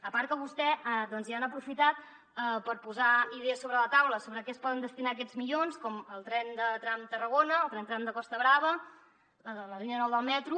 a part que vostès ja han aprofitat per posar idees sobre la taula sobre a què es poden destinar aquests milions com el tren tram tarragona el tren tram de costa brava la línia nou del metro